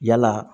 Yala